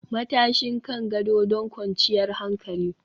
Matashin kan gado don kwanciyar hankali